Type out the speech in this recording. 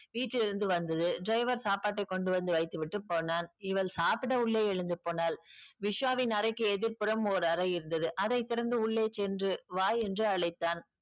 வீட்டிலிருந்து வந்தது driver சாப்பாட்டை கொண்டு வந்து வைத்துவிட்டு போனான். இவள் சாப்பிட உள்ளே எழுந்து போனாள். விஸ்வாவின் அறைக்கு எதிர்ப்புறம் ஒரு அறை இருந்தது அதை திறந்து உள்ளே சென்று வா என்று அழைத்தான்.